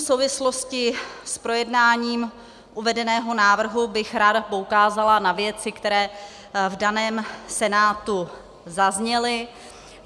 V souvislosti s projednáním uvedeného návrhu bych ráda poukázala na věci, které v daném Senátu zazněly.